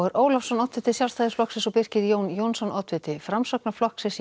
Ólafsson oddviti Sjálfstæðisflokks og Birkir Jón Jónsson oddviti Framsóknarflokks